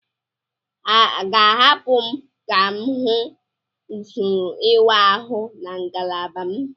A ga-ahapụ m ka m hụ usoro ịwa ahụ na ngalaba m?